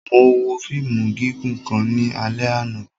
Mo wo fiimu gigun kan ni alẹ ana.